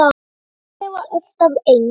En Simmi var alltaf eins.